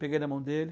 Peguei na mão dele.